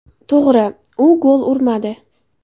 To‘g‘ri, u gol urmadi.